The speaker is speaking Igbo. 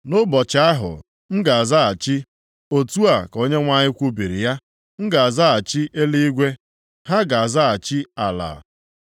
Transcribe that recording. “Nʼụbọchị ahụ m ga-azaghachi,” otu a ka Onyenwe anyị kwubiri ya. “M ga-azaghachi eluigwe, ha ga-azaghachi ala.